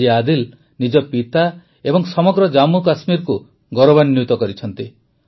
ଆଜି ଆଦିଲ ନିଜ ପିତା ଏବଂ ସମଗ୍ର ଜାମ୍ମୁକାଶ୍ମୀରକୁ ଗୌରବାନ୍ୱିତ କରିଛନ୍ତି